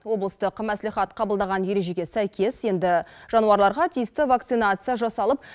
облыстық маслихат қабылдаған ережеге сәйкес енді жануарларға тиісті вакцинация жасалып